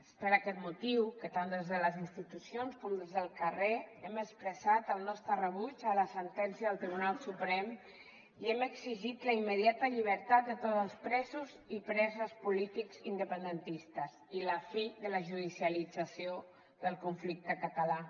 és per aquest motiu que tant des de les institucions com des del carrer hem expressat el nostre rebuig a la sentència del tribunal suprem i hem exigit la immediata llibertat de tots els presos i preses polítics independentistes i la fi de la judicialització del conflicte català